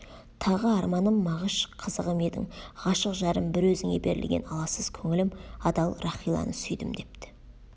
тағы арманым мағыш қызығым едің ғашық жарым бір өзіңе берілген аласыз көңілім адал рахиланы сүйдім депті